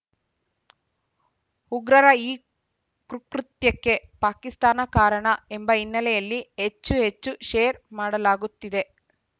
ಉಗ್ರರ ಈ ಕುಕ್ಕೃತ್ಯಕ್ಕೆ ಪಾಕಿಸ್ತಾನ ಕಾರಣ ಎಂಬ ಹಿನ್ನೆಲೆಯಲ್ಲಿ ಹೆಚ್ಚು ಹೆಚ್ಚು ಶೇರ್‌ ಮಾಡಲಾಗುತ್ತಿದೆ